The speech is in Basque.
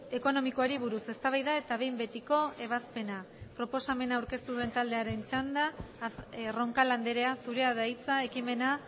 ekonomikoari buruz eztabaida eta behin betiko ebazpena proposamena aurkeztu duen taldearen txanda roncal andrea zureada hitza ekimena